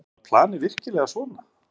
Var planið virkilega svona?